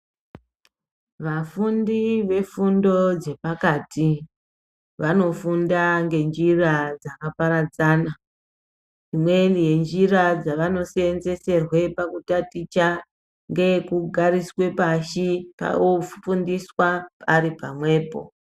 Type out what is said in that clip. Vafundi vefundo dzepakati vanofunda ngenjira dzakaparadzana imweni yenjira dzavanoseenseserwe pakutaticha ngeye kugariswe pashi ofundiswa aripamwepo.